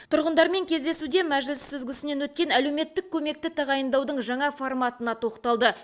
тұрғындармен кездесуде мәжіліс сүзгісінен өткен әлеуметтік көмекті тағайындаудың жаңа форматына тоқталды